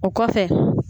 O kɔfɛ